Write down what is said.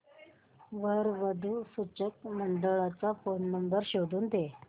वधू वर सूचक मंडळाचा फोन नंबर शोधून दे